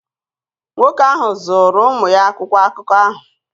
Nwoke ahụ zụụru ụmụ ya akwụkwọ akụkọ ahụ.